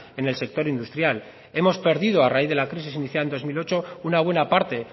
en el sector industrial hemos perdido a raíz de la crisis iniciada en dos mil ocho una buena parte